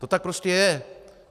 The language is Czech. To tak prostě je.